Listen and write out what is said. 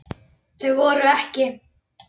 Þau voru EKKI.